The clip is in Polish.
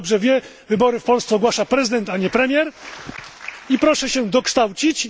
Jak Pan dobrze wie, wybory w Polsce ogłasza prezydent a nie premier, i proszę się dokształcić!